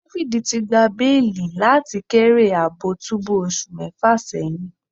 David ti gba beeli lati thr kere aabo tubu osu mefa seyin